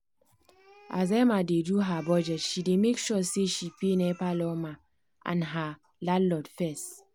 as emma dey do her budget she dey make sure say she pay nepa lawma and her landlord fess.